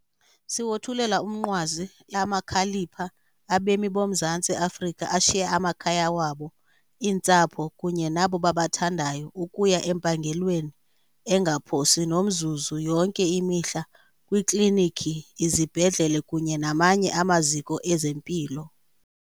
Siwothulela umnqwazi amakhalipha abemi boMzantsi Afrika ashiye amakhaya wabo, iintsapho kunye nabo babathandayo ukuya empangelweni engaphosi nomzuzu yonke imihla kwiikliniki, izibhedlele kunye namanye amaziko ezempilo.